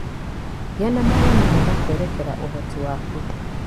Gĩa na mawoni mega kwerekera ũhoti waku.